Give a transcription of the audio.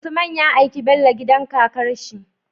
Usman ya aiki Bello gidan kakarshi